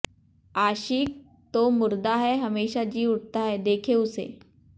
आशिक़ तो मुर्दा है हमेशा जी उठता है देखे उसे